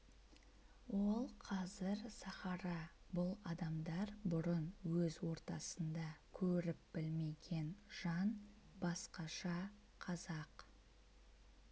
ол қазір сахара бұл адамдар бұрын өз ортасында көріп білмеген жан басқаша қазақ